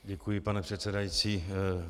Děkuji, pane předsedající.